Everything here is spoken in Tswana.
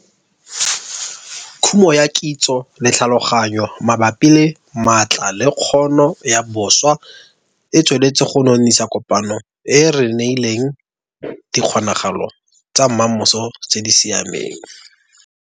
Khumo ya kitso le tlhaloganyo mabapi le maatla le kgono ya boswa e tsweletse go nonisa kopano e e re neileng dikgonagalo tsa mmamoso tse di siameng.